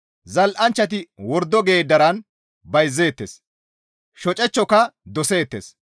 «Zal7anchchati wordo geeddaran bayzeettes; shocechchoka doseettes.